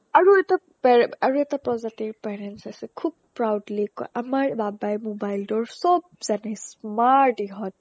আৰু এটা পেৰে অ আৰু এটা প্ৰজাতিৰ parents আছে খুব proudly কই আমাৰ বাবাই mobile টোৰ চ'ব জানে smart ইহতে